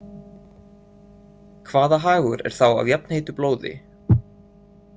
Hvaða hagur er þá af jafnheitu blóði?